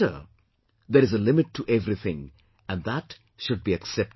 " There is a limit to everything and that should be accepted